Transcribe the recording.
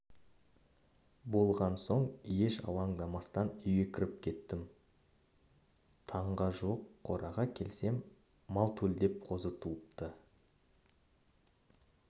болған соң еш алаңдамастан үйге кіріп кеттім таңға жуық қораға келсем мал төлдеп қозы туыпты